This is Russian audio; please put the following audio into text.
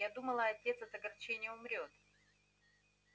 я думала отец от огорчения умрёт